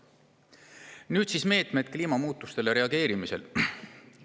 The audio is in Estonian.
Nüüd siis meetmetest kliimamuutusele reageerimisel.